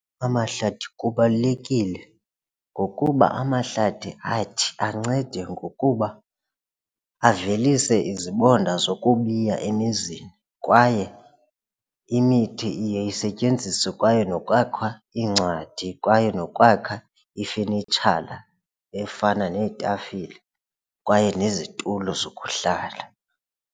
Amahlathi kubalulekile ngokuba amahlathi athi ancede ngokuba avelise izibonda zokubiya emizini kwaye imithi iye isetyenziswe kwaye nokwakha iincwadi kwaye nokwakha ifenitshala efana neetafile kwaye nezitulo zokuhlala.